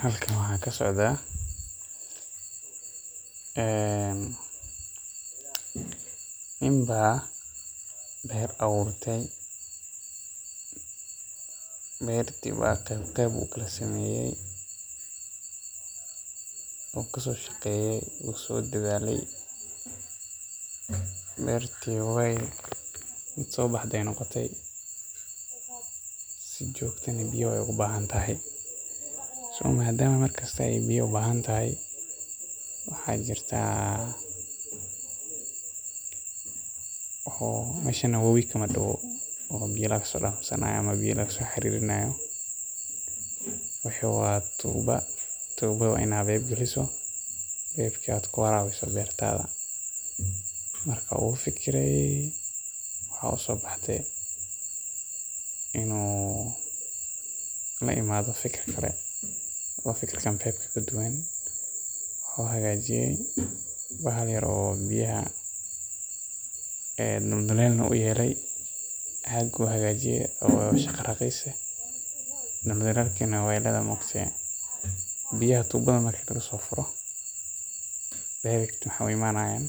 Halkan waxaa kasocdaa nin baa beer abuurte, beerti qeeb ukala sameeye, wuu kasoo shaqeeye, waay soo baxde, biya ayeey ubahan tahay, waxaa jirta mesha wabowi kama dawo, tuubo beer lagu waraabiyo, inuu la imaado fikir kale, wuxuu hagaajiye wax yar oo biyaha warabiyo, waxeey u imaanayan